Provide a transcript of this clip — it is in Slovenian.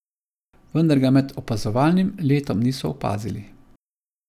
Vendar ga med opazovalnim letom niso opazili.